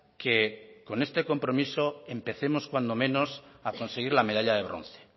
que con este compromiso empecemos cuando menos a conseguir la medalla de bronce